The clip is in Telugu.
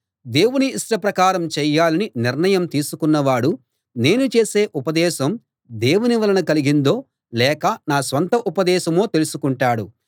దేవుని ఇష్టప్రకారం చేయాలని నిర్ణయం తీసుకున్నవాడు నేను చేసే ఉపదేశం దేవుని వలన కలిగిందో లేక నా స్వంత ఉపదేశమో తెలుసుకుంటాడు